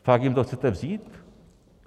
Fakt jim to chcete vzít?